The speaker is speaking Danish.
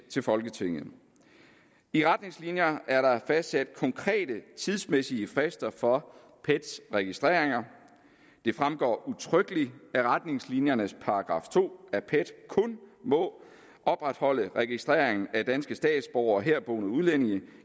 til folketinget i retningslinjerne er der fastsat konkrete tidsmæssige frister for pets registreringer det fremgår udtrykkeligt af retningslinjernes § to at pet kun må opretholde registrering af danske statsborgere og herboende udlændinge